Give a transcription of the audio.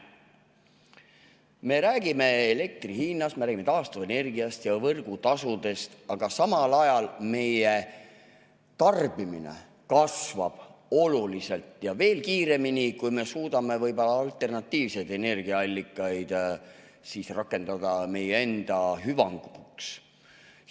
Me räägime elektri hinnast, me räägime taastuvenergiast ja võrgutasudest, aga samal ajal meie tarbimine oluliselt kasvab ja veel kiiremini, kui me suudame võib-olla alternatiivseid energiaallikaid rakendada meie enda hüvanguks.